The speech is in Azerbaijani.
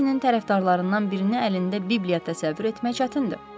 Moriartinin tərəfdarlarından birini əlində Bibliya təsəvvür etmək çətindir.